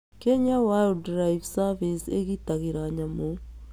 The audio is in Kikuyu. Kenya Wildlife Service ĩgitagĩra nyamũ.